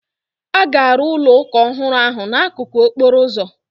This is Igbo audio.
A ga-arụ ụlọ ụka ọhụrụ ahụ n'akụkụ okporo ụzọ.